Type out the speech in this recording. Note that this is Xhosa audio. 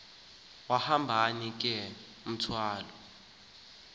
hambani ke mathol